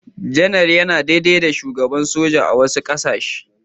Janar yana daidai da Shugaban soja a wasu ƙasashe.